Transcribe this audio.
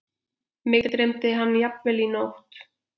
Mig dreymdi hann jafnvel í nótt.